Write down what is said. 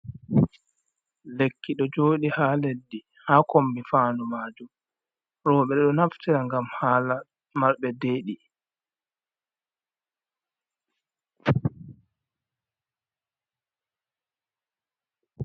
Lekki ɗo jooɗi haa leddi, haa kombi fandu majum, rowɓe ɗo naftira ngam haala marɓe deɗi